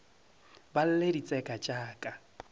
ba lle ditseka tša ka